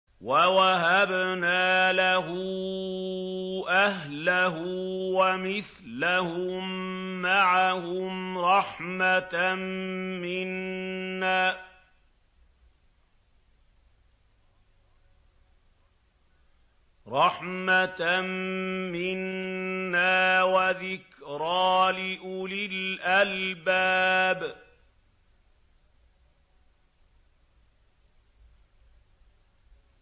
وَوَهَبْنَا لَهُ أَهْلَهُ وَمِثْلَهُم مَّعَهُمْ رَحْمَةً مِّنَّا وَذِكْرَىٰ لِأُولِي الْأَلْبَابِ